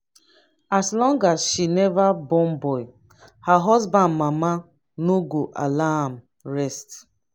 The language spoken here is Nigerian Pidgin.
as long as she never born boy her husband mama no go allow am rest